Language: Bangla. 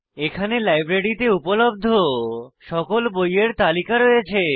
এখানে লাইব্রেরীতে উপলব্ধ সকল বইযের তালিকা রয়েছে